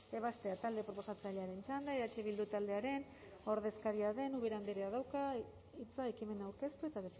ebazpena talde proposatzailearen txanda eh bildu taldearen ordezkaria den ubera andreak dauka hitza ekimena aurkeztu eta